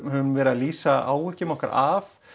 höfum verið að lýsa áhyggjum okkar af